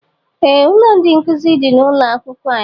Ee ụlọ ndị nkụzi dị n'ụlọ akwụkwọ anyị